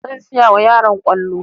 Zan siyawa yaran kwallo